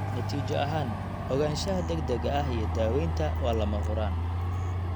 Natiijo ahaan, ogaanshaha degdega ah iyo daawaynta waa lama huraan.